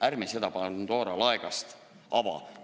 Ärme seda Pandora laegast avame!